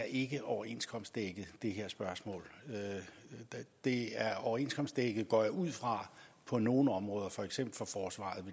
ikke er overenskomstdækket i det her spørgsmål det er overenskomstdækket går jeg ud fra på nogle områder at for eksempel for forsvaret